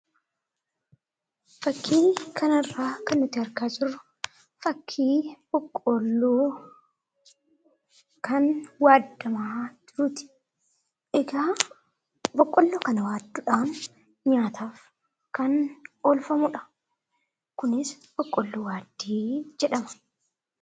Fakkii kanarraa kan nuti argaa jirru fakkii boqqoolloo kan waadamaa jiruuti. Egaa boqqoolloo kana waaduudhaaf nyaataaf kan oolfamudha. Kunis boqqoolloo waaddii jedhama.